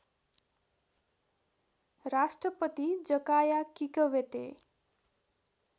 Rashtrapati Jakaya Kikwete